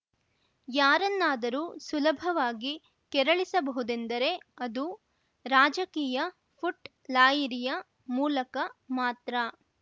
ಯಾರನ್ನಾದರೂ ಸುಲಭವಾಗಿ ಕೆರಳಿಸ ಬಹುದೆಂದರೆ ಅದು ರಾಜಕೀಯ ಫುಟ್‌ ಲಾಯಿರಿಯ ಮೂಲಕ ಮಾತ್ರ